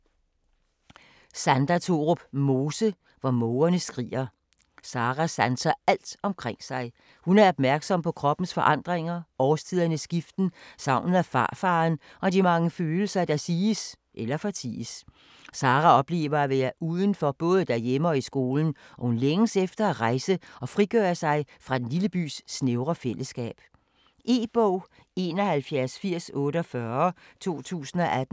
Mose, Sandra Thorup: Hvor mågerne skriger Sarah sanser alt omkring sig. Hun er opmærksom på kroppens forandringer, årstidernes skiften, savnet efter farfaderen og de mange følelser, der siges eller forties. Sarah oplever at være uden for både derhjemme og i skolen og hun længes efter at rejse og frigøre sig fra den lille bys snævre fælleskab. E-bog 718048 2018.